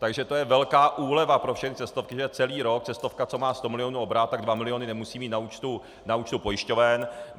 Takže to je velká úleva pro všechny cestovky, že celý rok cestovka, co má sto milionů obrat, tak dva miliony nemusí mít na účtu pojišťoven.